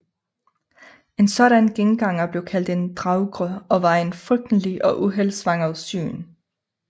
En sådan genganger blev kaldt en draugr og var et frygteligt og uheldsvangert syn